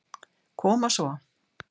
Koma svo.